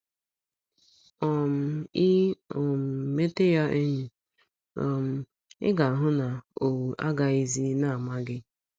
um I um mete ya enyi, um ị ga - ahụ na owu agaghịzi na - ama gị. ”